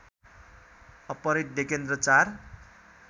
अपहरित डेकेन्द्र चार